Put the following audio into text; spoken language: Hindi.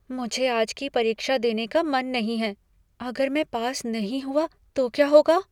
मुझे आज की परीक्षा देने का मन नहीं है। अगर मैं पास नहीं हुआ तो क्या होगा?